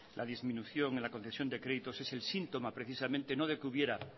la disminución en la concesión de créditos es el síntoma precisamente no de que hubiera